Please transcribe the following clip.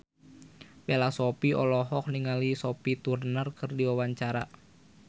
Bella Shofie olohok ningali Sophie Turner keur diwawancara